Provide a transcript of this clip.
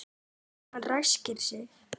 Hann ræskir sig.